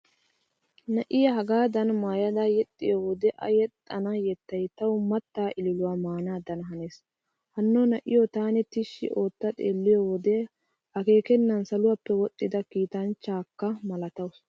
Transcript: Na'iya hagaadan maayada yexxiyo wode a yexxana yettay tawu mattaa ililuwaa maanaadan hanees. Hanno na'iyo taani tishshi ootta xeelliyo wode akeekennan saluwaappe woxxida kiitanchchakka malatawusu.